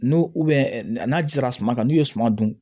N'u n'a jira suma kan n'u ye suman dun